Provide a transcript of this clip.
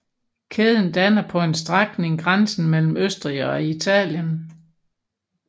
Kæden danner på en strækning grænsen mellem Østrig og Italien